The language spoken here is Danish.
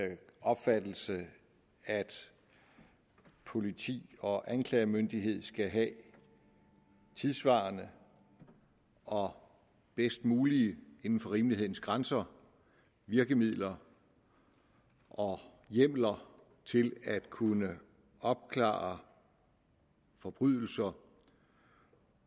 den opfattelse at politi og anklagemyndighed skal have tidssvarende og bedst mulige inden for rimelighedens grænser virkemidler og hjemler til at kunne opklare forbrydelser